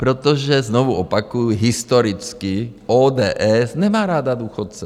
Protože, znovu opakuji, historicky ODS nemá ráda důchodce.